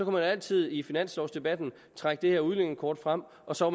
man altid i finanslovdebatten trække det her udlændingekort frem og så